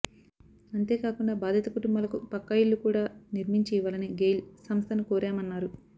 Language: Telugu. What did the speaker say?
అంతేకాకుండా బాధిత కుటుంబాలకు పక్కా ఇళ్ళు కూడా నిర్మించి ఇవ్వాలని గెయిల్ సంస్ధను కోరామన్నారు